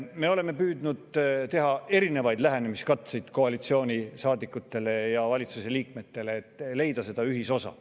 Me oleme püüdnud teha erinevaid lähenemiskatseid koalitsioonisaadikutele ja valitsuse liikmetele, et leida ühisosa.